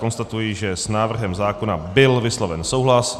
Konstatuji, že s návrhem zákona byl vysloven souhlas.